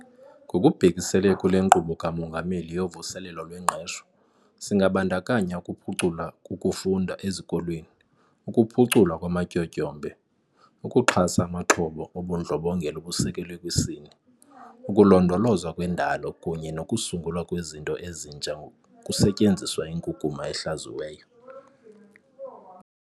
Ngokubhekisele kule Nkqubo kaMongameli yoVuselelo lweNgqesho, singabandakanya ukuphucula kukufunda ezikolweni, ukuphuculwa kwamatyotyombe, ukuxhasa amaxhoba obundlobongela obusekelwe kwisini, ukulondolozwa kwendalo kunye nokusungulwa kwezinto ezintsha kusetyenziswa inkunkuma ehlaziyiweyo.